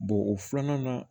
o filanan na